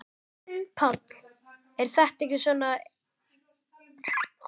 Páll: Er þetta ekki svona einn erfiðasti dagurinn hérna, lengi?